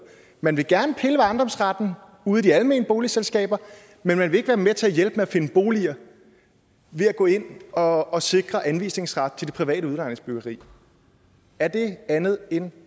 man vil gerne pille ved ejendomsretten ude i de almene boligselskaber men man vil ikke være med til at hjælpe med at finde boliger ved at gå ind og og sikre anvisningsret til det private udlejningsbyggeri er det andet end